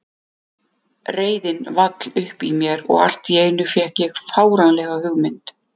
Reiðin vall upp í mér og allt í einu fékk ég fáránlega hugmynd.